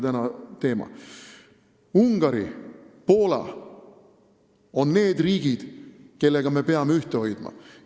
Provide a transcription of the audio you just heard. Ungari ja Poola on need riigid, kellega me peame ühte hoidma.